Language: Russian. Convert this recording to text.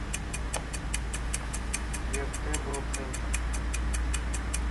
вертеброцентр